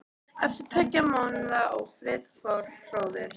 Eftir tveggja mánaða ófrið fór hróður